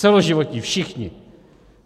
Celoživotní, všichni!